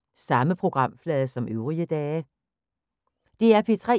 DR P3